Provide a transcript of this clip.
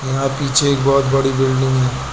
यहां पीछे एक बहुत बड़ी बिल्डिंग है।